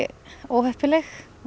óheppileg